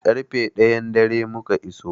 Ƙarfe ɗayan dare muka iso.